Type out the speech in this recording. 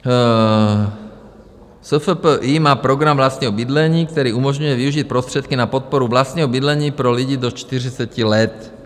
SFPI má program vlastního bydlení, který umožňuje využít prostředky na podporu vlastního bydlení pro lidi do 40 let.